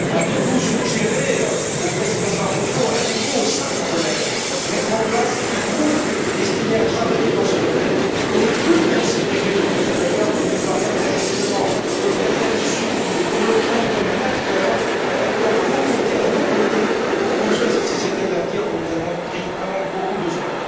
Allez vous suggérer au président Barroso, allez vous, au sein du Collège, mettre en place un groupe destiné à travailler dans ce domaine pour ne plus considérer le consommateur comme une variable d'ajustement, comme quelqu'un qui subit, mais pour le prendre comme un acteur, un acteur à vos côtés, à nos côtés, pour construire cette société de l'avenir dont nous avons vraiment bien besoin?